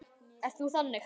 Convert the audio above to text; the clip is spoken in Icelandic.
Ert þú þannig?